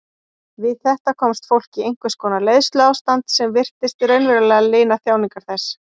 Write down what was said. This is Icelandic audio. Við þetta komst fólk í einhvers konar leiðsluástand sem virtist raunverulega lina þjáningar þess.